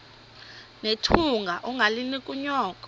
nethunga ungalinik unyoko